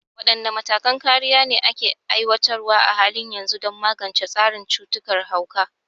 Wadanne matakan kariya ne ake aiwatarwa a halin yanzu don magance tasirin cutar hauka?